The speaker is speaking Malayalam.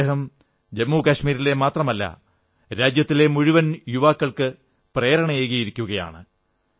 ഇന്ന് അദ്ദേഹം ജമ്മുകശ്മീരിലെ മാത്രമല്ല രാജ്യത്തെ മുഴുവൻ യുവാക്കൾക്ക് പ്രേരണയായിരിക്കയാണ്